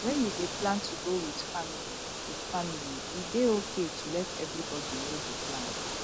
when you dey plan to go with family with family e dey okay to let everybody know di plan